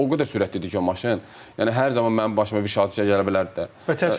O qədər sürətli idi ki, o maşın, yəni hər zaman mənim başıma bir hadisə gələ bilərdi də.